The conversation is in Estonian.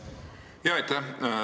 Aitäh!